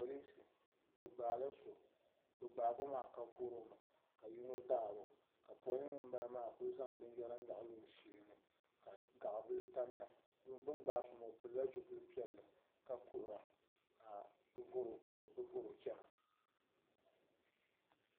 polinsi bi gbaala so bi gbaagi o maa ka voromi ka yino daaro ka polin ŋunbala maa ku zaŋ binyɛra nyaɣali o shee ka gaɣa bili tamya bi ni gbaai so maa o pilila zipili piɛlli ka kuhura ka bi voro chɛna